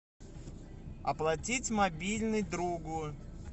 оплатить мобильный другу